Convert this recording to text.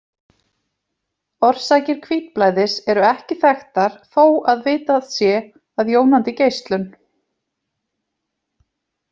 Orsakir hvítblæðis eru ekki þekktar þó að vitað sé að jónandi geislun.